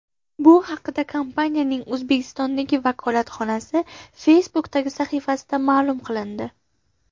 Bu haqda kompaniyaning O‘zbekistondagi vakolatxonasi Facebook’dagi sahifasida ma’lum qilindi .